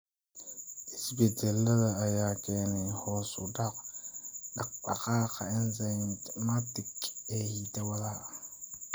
Isbeddellada ayaa keenaya hoos u dhaca dhaqdhaqaaqa enzymatic ee hidda-wadaha.